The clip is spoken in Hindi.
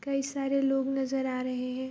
कई सारे लोग नजर आ रहे हैं।